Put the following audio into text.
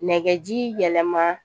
Nɛgɛji yɛlɛma